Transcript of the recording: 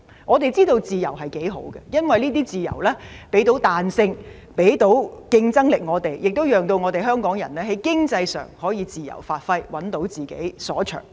我們知道自由有多可貴，因為這些自由給予我們彈性和競爭力，亦讓香港人在經濟上可以自由發揮，找到自己所長。